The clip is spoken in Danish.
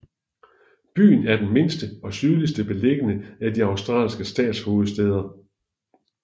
Byen er den mindste og sydligst beliggende af de australske statshovedstæder